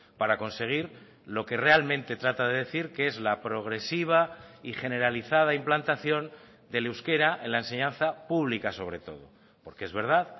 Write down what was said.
para conseguir lo que realmente trata de decir que es la progresiva y generalizada implantación del euskera en la enseñanza pública sobre todo porque es verdad